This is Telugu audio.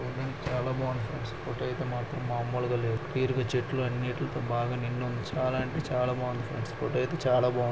సరౌన్దింగ్ చాలా బాగుంది ఫ్రెండ్స్ ఫోటో అయితే మాత్రం మాములుగా లేదు క్లియర్ గా చెట్లు అన్నిటలతో బాగా నిండి ఉంది చాలా అంటే చాలా బాగుంది ఫ్రెండ్స్ ఫోటో అయితే చాలా బాగుంది.